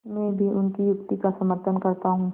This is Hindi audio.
मैं भी उनकी युक्ति का समर्थन करता हूँ